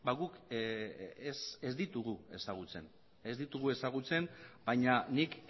ba guk ez ditugu ezagutzen baina nik